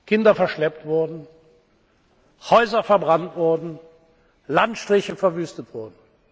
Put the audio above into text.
wurden, Kinder verschleppt wurden, Häuser verbrannt wurden, Landstriche verwüstet wurden.